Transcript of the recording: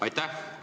Aitäh!